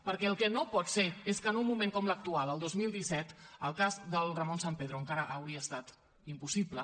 perquè el que no pot ser és que en un moment com l’actual el dos mil disset el cas del ramón sampedro encara hauria estat impossible